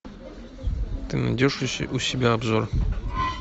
ты найдешь у себя обзор